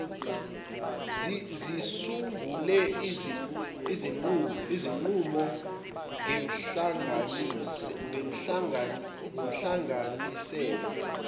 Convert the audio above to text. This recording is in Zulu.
zisungule izinqumo ngenhlanganisela